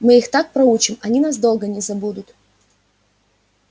мы их так проучим они нас долго не забудут